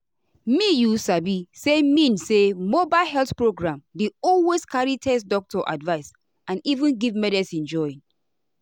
me you sabi saymean say mobile health program dey always carry test doctor advice and even give medicine join.